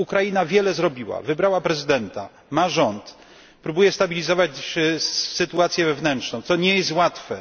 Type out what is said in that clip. Ukraina wiele zrobiła wybrała prezydenta, ma rząd, próbuje stabilizować sytuację wewnętrzną co nie jest łatwe.